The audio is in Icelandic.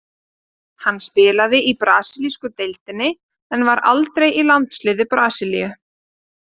Hann spilaði í brasilísku deildinni en var aldrei í landsliði Brasilíu.